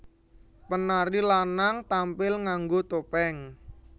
Penari lanang tampil nganggo topeng